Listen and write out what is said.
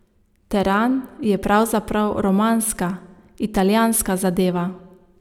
Teran je pravzaprav romanska, italijanska zadeva.